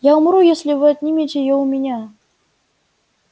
я умру если вы отнимете её у меня